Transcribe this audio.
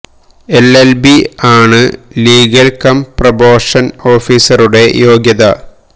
L L B ആണ് legal cum probation ഓഫീസറുടെ യോഗ്യത